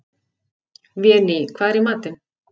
Véný, hvað er í matinn?